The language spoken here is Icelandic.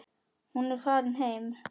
Hún er farin heim.